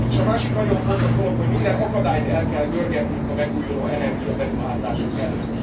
És a másik nagyon fontos dolog, hogy minden akadályt el kell görgetnünk a megújulóenergia beruházások elől.